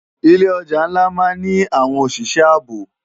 Ilé òjá nlá má ni áwòn óṣiṣè àábó